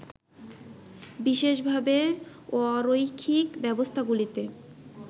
বিশেষভাবে, অরৈখিক ব্যবস্থাগুলিতে